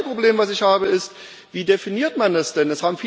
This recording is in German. Und das zweite Problem, das ich habe, ist Wie definiert man das denn?